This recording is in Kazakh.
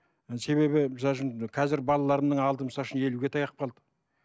себебі қазіргі балаларымның алды елуге таяп қалды